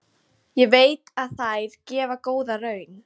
Ég veit að þær gefa góða raun.